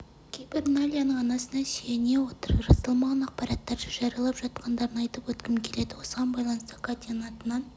кейбір найляның анасына сүйене отырып расталмаған ақпараттарды жариялап жатқандарын айтып өткім келеді осыған байланысты катяның атынан